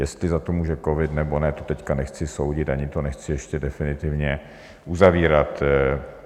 Jestli za to může covid, nebo ne, to teď nechci soudit ani to nechci ještě definitivně uzavírat.